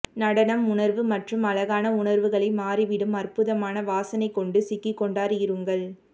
நடனம் உணர்வு மற்றும் அழகான உணர்வுகளை மாறிவிடும் அற்புதமான வாசனை கொண்டு சிக்கிக் கொண்டார் இருங்கள்